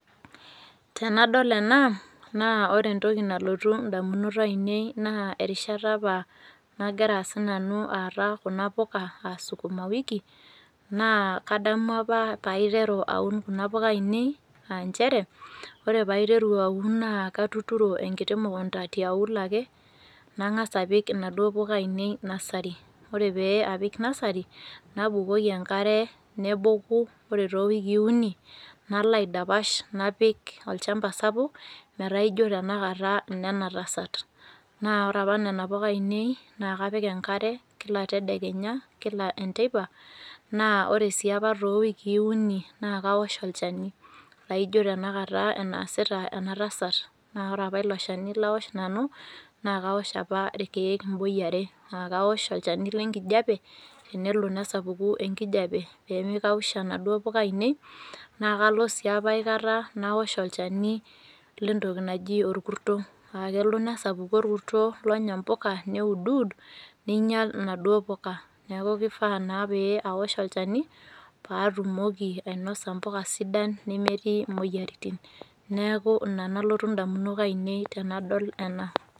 Tenadol ena, na ore entoki nalotu ndamunot ainei na erishata apa nagira sinanu aata kuna puka aa sukumawiki, nakadamu apa paiteru aun kuna puka ainie aanchere ore paiteru aun na katuturo enkiti mukunda tiauluo ake nangasa apik naduo puka ainiei nursery ore pe apik nursery nabukoki enkare neboku or towikii uni nalo aidapasha napik olchamba sapuk metaa ijo tanakata lenatasat na ore apa nona puka ainiei na kapik enkare kila tedekenya kila enteipa, ore si apa to wiki uni na kaosh olchani na ino tanakata anaasita enatasat, na ore apa ilo shani laoshito nanu na kaosh apa mwai are, akaosh olchani lenkijape nelo nesapuku enkijape pemi kausha naduo puka ainiei nakalo apa aikata naosh olchani lentoki naji orkurto, akelo nesapuku orkurto nenya mpuka neuduud ninyal naduo puka, neaku kifaa na paosh olchani patumoki ainoso mpuka sidan nemetii moyiaritin, neaku inanalotu ndamunot ainiei tanadol ena.